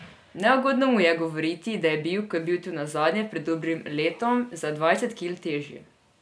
Neugodno mu je govoriti, da je bil, ko je bil tu nazadnje, pred dobrim letom, za dvajset kil težji.